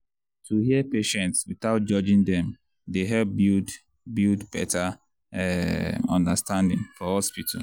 to hear patients without judging dem dey help build build better um understanding for hospital.